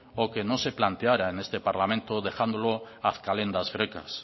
o que no se planteara en este parlamento dejándolo ad calendas graecas